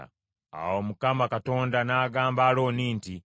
Awo Mukama Katonda n’agamba Alooni nti,